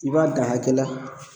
I b'a dan akɛ la